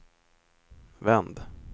vänd